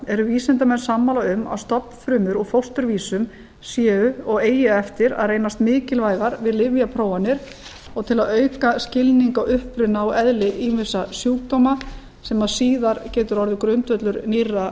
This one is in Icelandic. eru vísindamenn sammála um að stofnfrumur úr fósturvísum séu og eigi eftir að reynast mikilvægar við lyfjaprófanir og til að auka skilning á uppruna og eðli ýmissa sjúkdóma sem síðar getur orðið grundvöllur nýrra